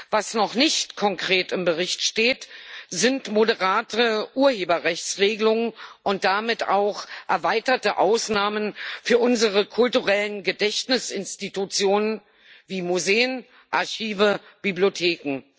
Was noch nicht konkret im Bericht steht, sind moderatere Urheberrechtsregelungen und damit auch erweiterte Ausnahmen für unsere kulturellen Gedächtnisinstitutionen wie Museen, Archive, Bibliotheken.